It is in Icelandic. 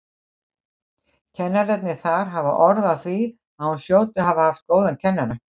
Kennararnir þar hafa orð á því að hún hljóti að hafa haft góðan kennara.